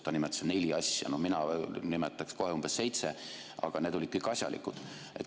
Ta nimetas neli asja, no mina nimetaks kohe umbes seitse, aga need olid tal kõik asjalikud.